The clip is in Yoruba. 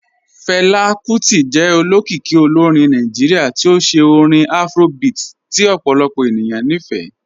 Fẹla Kuti jẹ òlókìíkì òlórìn Nàìjíríà tí ó ṣẹ̀ orin Afrobeat tí ọ̀pọ̀lọpọ̀ ènìyàn ní fẹ́.